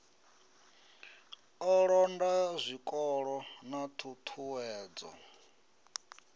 u londa zwikolo na ṱhuṱhuwedzo